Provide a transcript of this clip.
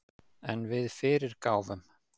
En við fyrirgáfum